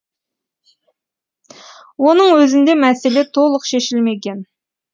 оның өзінде мәселе толық шешілмеген